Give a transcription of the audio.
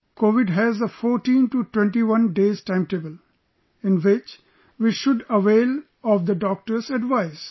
Covid has a 14 to 21 day's timetable, in which we should avail of the Doctor's advice